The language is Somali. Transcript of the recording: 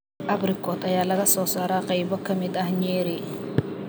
Abrikot ayaa laga soo saaraa qaybo ka mid ah Nyeri.